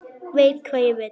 Veit hvað ég vil.